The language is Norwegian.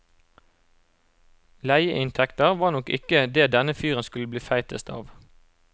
Leieinntekter var nok ikke det denne fyren skulle bli feitest av.